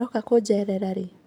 Uroka kunjerera ri